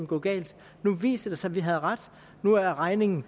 gå galt nu viser det sig vi havde ret nu er regningen